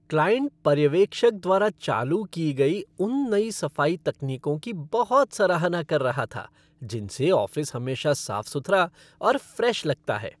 Client पर्यवेक्षक द्वारा चालू की गई उन नई सफाई तकनीकों की बहुत सराहना कर रहा था जिनसे ऑफ़िस हमेशा साफ सुथरा और फ़्रेश लगता है।